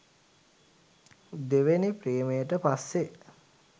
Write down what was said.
දෙවෙනි ප්‍රේමයට පස්සෙ.